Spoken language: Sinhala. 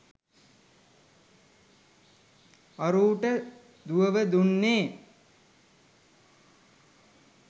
අරූට දුවව දුන්නේ